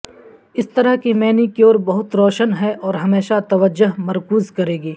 اس طرح کی مینیکیور بہت روشن ہے اور ہمیشہ توجہ مرکوز کرے گی